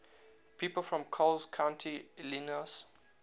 people from coles county illinois